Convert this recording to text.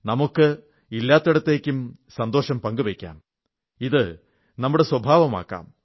നമുക്ക് ഇല്ലാത്തിടത്തേക്കും സന്തോഷം പങ്കുവയ്ക്കാം ഇത് നമ്മുടെ സ്വഭാവമാക്കാം